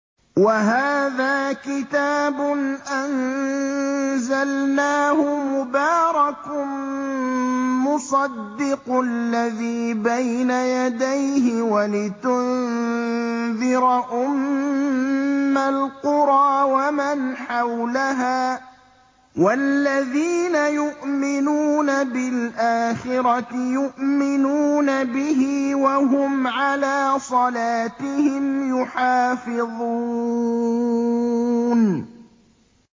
وَهَٰذَا كِتَابٌ أَنزَلْنَاهُ مُبَارَكٌ مُّصَدِّقُ الَّذِي بَيْنَ يَدَيْهِ وَلِتُنذِرَ أُمَّ الْقُرَىٰ وَمَنْ حَوْلَهَا ۚ وَالَّذِينَ يُؤْمِنُونَ بِالْآخِرَةِ يُؤْمِنُونَ بِهِ ۖ وَهُمْ عَلَىٰ صَلَاتِهِمْ يُحَافِظُونَ